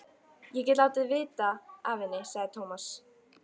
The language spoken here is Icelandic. Ég get látið vita af henni, sagði Tómas.